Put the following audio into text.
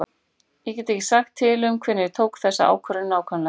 Ég get ekki sagt til um hvenær ég tók þessa ákvörðun nákvæmlega.